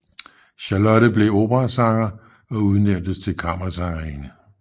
Charlotte blev operasanger og udnævntes til kammersangerinde